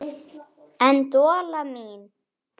En Dolla mín.